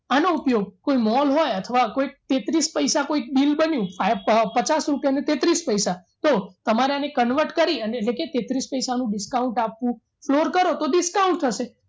આનો ઉપયોગ કોઈ mall હોય અથવા કોઈ તેત્રીસ પૈસા કોઈ bill બન્યું પચાસ રૂપિયા તેત્રીસ પૈસા તો તમારે એને convert કરી એટલે કે તેત્રીસ પૈસાનું discount આપવું floor કરો તો discount થશે